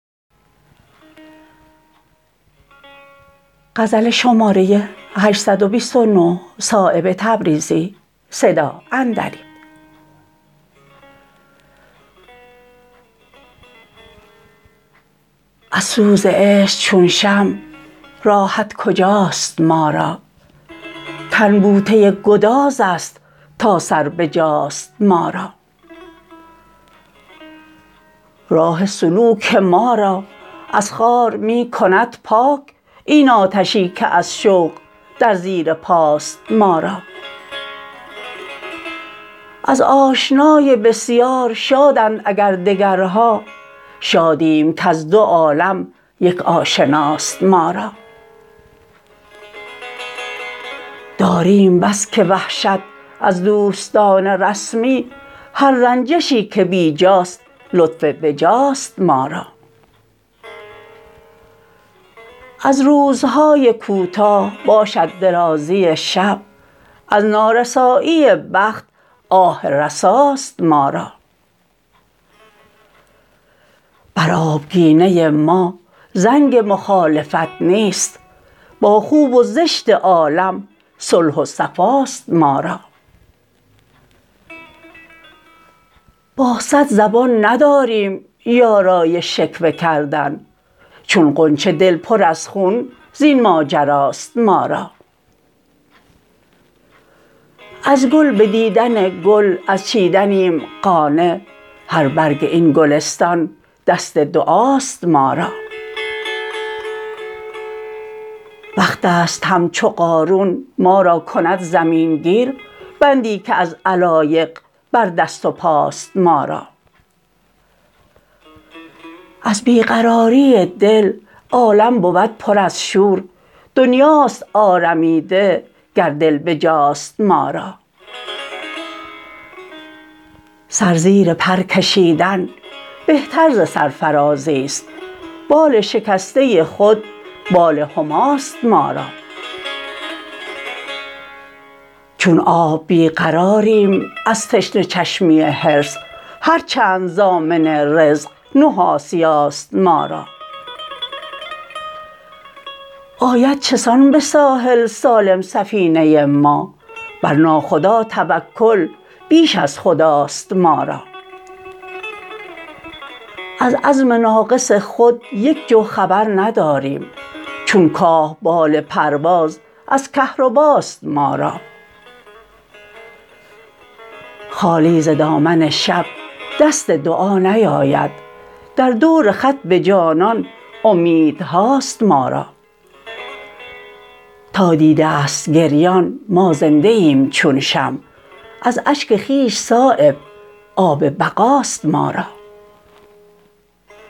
از سوز عشق چون شمع راحت کجاست ما را تن بوته گدازست تا سر بجاست ما را راه سلوک ما را از خار می کند پاک این آتشی که از شوق در زیر پاست ما را از آشنای بسیار شادند اگر دگرها شادیم کز دو عالم یک آشناست ما را داریم بس که وحشت از دوستان رسمی هر رنجشی که بیجاست لطف بجاست ما را از روزهای کوتاه باشد درازی شب از نارسایی بخت آه رساست ما را بر آبگینه ما زنگ مخالفت نیست با خوب و زشت عالم صلح و صفاست ما را با صد زبان نداریم یارای شکوه کردن چون غنچه دل پر از خون زین ماجراست ما را از گل به دیدن گل از چیدنیم قانع هر برگ این گلستان دست دعاست ما را وقت است همچو قارون ما را کند زمین گیر بندی که از علایق بر دست و پاست ما را از بی قراری دل عالم بود پر از شور دنیاست آرمیده گر دل بجاست ما را سر زیر پر کشیدن بهتر ز سرفرازی است بال شکسته خود بال هماست ما را چون آب بی قراریم از تشنه چشمی حرص هر چند ضامن رزق نه آسیاست ما را آید چسان به ساحل سالم سفینه ما بر ناخدا توکل بیش از خداست ما را از عزم ناقص خود یک جو خبر نداریم چون کاه بال پرواز از کهرباست ما را خالی ز دامن شب دست دعا نیاید در دور خط به جانان امیدهاست ما را تا دیده است گریان ما زنده ایم چون شمع از اشک خویش صایب آب بقاست ما را